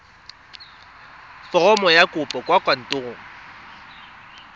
foromo ya kopo kwa kantorong